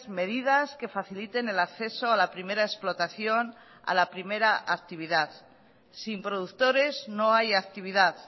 medidas que faciliten el acceso a la primera explotación a la primera actividad sin productores no hay actividad